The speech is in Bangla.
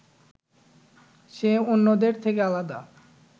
সে অন্যদের থেকে আলাদা